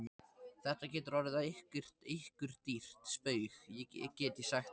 Þetta getur orðið ykkur dýrt spaug, get ég sagt ykkur!